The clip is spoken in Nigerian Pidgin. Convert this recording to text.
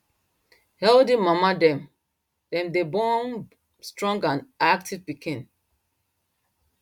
healthy mama dem dem day born strong and active piken